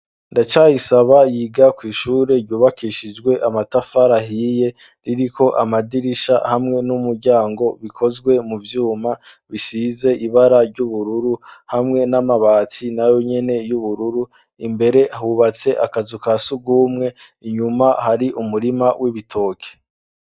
Ndacayisaba yiga kw'ishure ryubakishijwe amatafari ahiye ririko amadirisha hamwe n'umuryango bikozwe mu vyuma bisize ibara ry'ubururu hamwe n'amabati na yo nyene y'ubururu imbere hubatse akazu ka sugumwe inyuma hari umurima w'ibitoke.